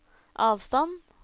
avstand